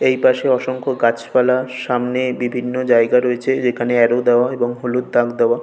এই পাশে অসংস গাছপালা। সামনে বিভিন্ন জায়গা রয়েছে যে খানে অ্যারো দাওয়া এবং হলুদ দাগ দেওয়া--